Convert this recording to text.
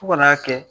Fo ka n'a kɛ